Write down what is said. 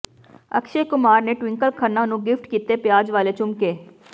ਅਕਸ਼ੈ ਕੁਮਾਰ ਨੇ ਟਵਿੰਕਲ ਖੰਨਾ ਨੂੰ ਗਿਫ਼ਟ ਕੀਤੇ ਪਿਆਜ਼ ਵਾਲੇ ਝੁਮਕੇ